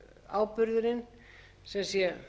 áburðurinn sem sé